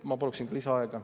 Ma paluksin ka lisaaega.